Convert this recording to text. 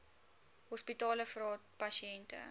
hospitale vra pasiënte